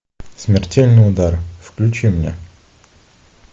смертельный удар включи мне